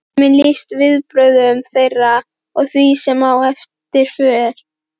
Tíminn lýsti viðbrögðum þeirra og því, sem á eftir fór